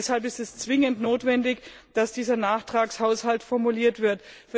Deshalb ist es zwingend notwendig, dass dieser Nachtragshaushalt formuliert wird.